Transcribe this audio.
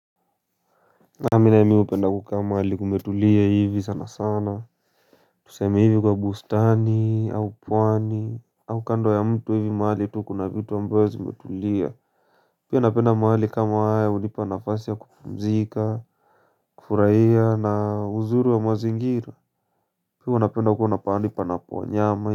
Mi nayo hupenda kukaa mahali kumetulia hivi sana sana Tuseme hivi kwa bustani au pwani au kando ya mto hivi mahali tu kuna vitu ambayo zimetulia Pia napenda mahali kama haya hunipa nafasi ya kupumzika kufurahia na uzuri wa mazingira Pia napenda kuenda pahali panapo wanyama.